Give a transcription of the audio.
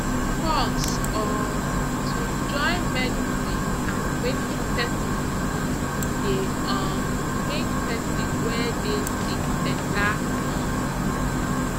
pause um to join medicine and wetin pesin believe dey um make pesin wey dey sick better um